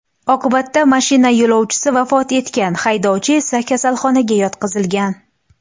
Oqibatda mashina yo‘lovchisi vafot etgan, haydovchi esa kasalxonaga yotqizilgan.